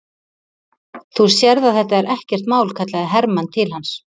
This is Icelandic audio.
Þú sérð að þetta er ekkert mál, kallaði Hermann til hans.